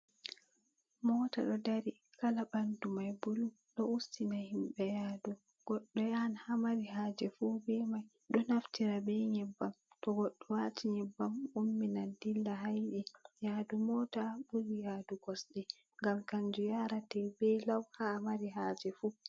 Mota ɗo dari, kala ɓandu mai bulu. Ɗo ustina himɓe yaadu, goɗɗo yahan haa mari haaje fu be mai, ɗo naftira be nyebbam, to goɗɗo waati nyebbam umminan dilla haa yiɗi. Yaadu mota ɓuri yaadu kosɗe, ngam kanju yaarete be law haa a mari haaje fu.